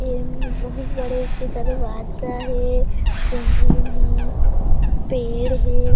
इम बहुत बड़े के दरवाजा हे धीम हे पेड़ हे।